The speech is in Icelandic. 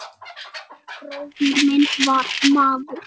Oddur bróðir minn var maður.